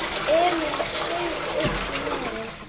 Emil saug uppí nefið.